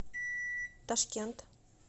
ташкент